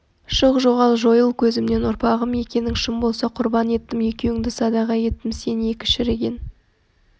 шық жоғал жойыл көзімнен ұрпағым екенің шын болса құрбан еттім екеуіңді садаға еттім сен екі шіріген